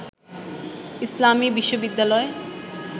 ইসলামী বিশ্ববিদ্যালয়